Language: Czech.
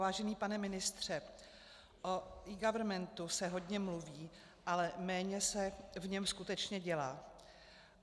Vážený pane ministře, o eGovernmentu se hodně mluví, ale méně se v něm skutečně dělá.